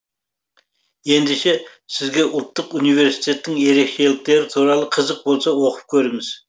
ендеше сізге ұлттық университеттің ерекшеліктері туралы қызық болса оқып көріңіз